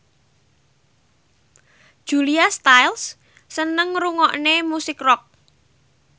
Julia Stiles seneng ngrungokne musik rock